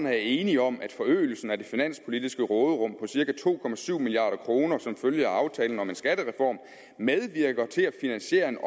er enige om at forøgelsen af det finanspolitiske råderum på cirka to milliard kroner som følge af aftalen om en skattereform medvirker til at finansiere en